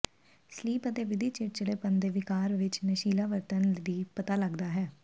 sleep ਅਤੇ ਵਧੀ ਚਿੜਚਿੜੇਪਣ ਦੇ ਿਵਕਾਰ ਵਿੱਚ ਨਸ਼ੀਲਾ ਵਰਤਣ ਦੀ ਪਤਾ ਲੱਗਦਾ ਹੈ